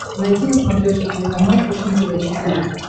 найти на смотрешке телеканал фэшен тв четыре к